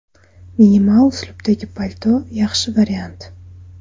Minimal uslubdagi palto yaxshi variant.